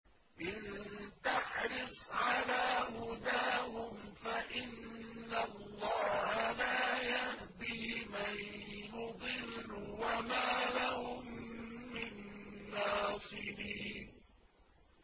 إِن تَحْرِصْ عَلَىٰ هُدَاهُمْ فَإِنَّ اللَّهَ لَا يَهْدِي مَن يُضِلُّ ۖ وَمَا لَهُم مِّن نَّاصِرِينَ